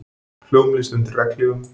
Hljómlist undir regnhlífum